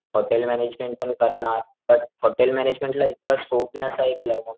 hotel management पण करणार but hotel मॅनेजमेंटला इतका स्कोप नाही असं ऐकलं मग,